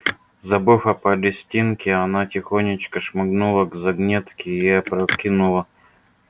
забыв о палестинке она тихонечко шмыгнула к загнётке и опрокинула